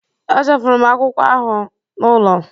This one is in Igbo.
Echefuru m akwụkwọ anụ ahụ m n'ụlọ